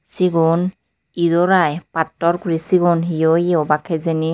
sigon idor i pattor guri sigon hiyoi yo obak hijeni.